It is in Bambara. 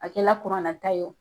A kɛla ta ye o